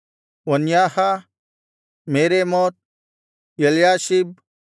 ವನ್ಯಾಹ Meremoth Eliashib